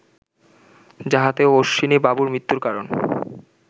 যাহাতে অশ্বিনীবাবুর মৃত্যুর কারণ